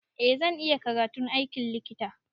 Eh zan iya karatun aikin likita.